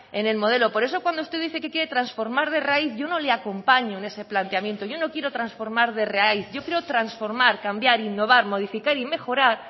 en el modelo por eso cuando usted dice que quiere transformar de raíz yo no le acompaño en ese planteamiento yo no quiero transformar de raíz yo quiero transformar cambiar innovar modificar y mejorar